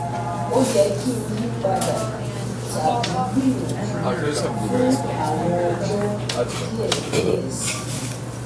o yẹ ki n yipada tabi gbiyanju fun awọn ọjọ diẹ diẹ sii